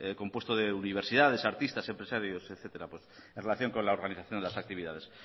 compuesto de universidades artistas empresarios etcétera en relación con la organización de las actividades